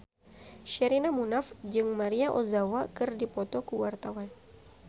Sherina Munaf jeung Maria Ozawa keur dipoto ku wartawan